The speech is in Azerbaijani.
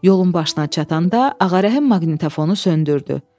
Yolun başına çatanda Ağarəhim maqnitofonu söndürdü.